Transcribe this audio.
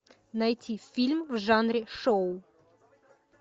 найти фильм в жанре шоу